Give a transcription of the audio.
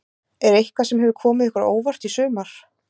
Er eitthvað sem hefur komið ykkur á óvart í sumar?